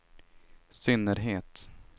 synnerhet